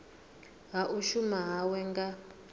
ha u shuma hawe nga